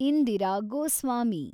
Indira Goswami